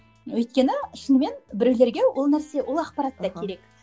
өйткені шынымен біреулерге ол нәрсе ол ақпарат та керек